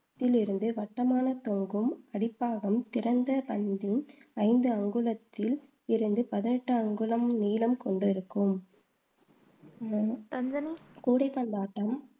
வளையத்திலிருந்து வட்டமான தொங்கும், அடிப்பாகம் திறந்த ஐந்து அங்குலத்தில் இருந்து பதினெட்டு அங்குலம் நீளம் கொண்டிருக்கும் கூடைப்பந்தாட்டம்